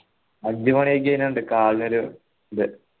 അഞ്ചു മണി ആയി കഴിനാൽ ഇണ്ട് കാലിനൊരു ഇത്